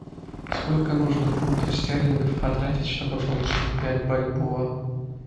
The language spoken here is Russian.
сколько нужно фунтов стерлингов потратить чтобы получить пять бальбоа